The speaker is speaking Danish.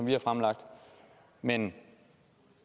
vi har fremlagt men